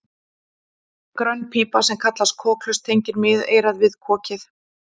grönn pípa sem kallast kokhlust tengir miðeyrað við kokið